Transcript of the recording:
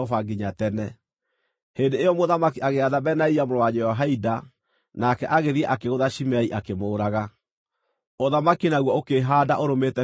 Hĩndĩ ĩyo mũthamaki agĩatha Benaia mũrũ wa Jehoiada, nake agĩthiĩ akĩgũtha Shimei akĩmũũraga. Ũthamaki naguo ũkĩĩhaanda ũrũmĩte biũ moko-inĩ ma Solomoni.